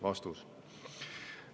" Vastus.